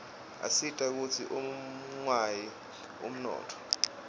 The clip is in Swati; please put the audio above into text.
asita kutsi ungawi umnotfo